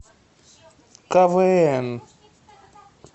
ка вэ эн